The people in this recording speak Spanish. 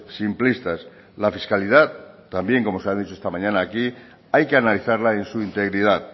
simplistas la fiscalidad también como se ha dicho esta mañana aquí hay que analizarla en su integridad